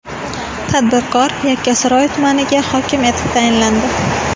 Tadbirkor Yakkasaroy tumaniga hokim etib tayinlandi.